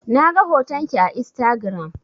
Na ga hoton ki a Instagiram.